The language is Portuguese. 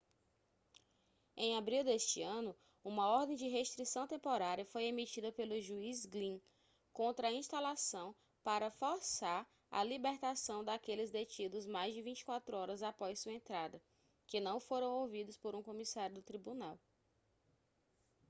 em abril deste ano uma ordem de restrição temporária foi emitida pelo juiz glynn contra a instalação para forçar a libertação daqueles detidos mais de 24 horas após sua entrada que não foram ouvidos por um comissário do tribunal